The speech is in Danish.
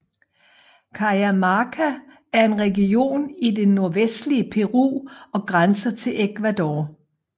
Cajamarca er en region i det nordvestlige Peru og grænser til Ecuador